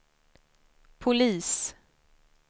polis